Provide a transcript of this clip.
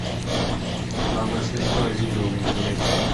самое смешное видео в интернете